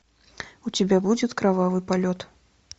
у тебя будет кровавый полет